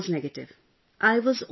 Everyone else was negative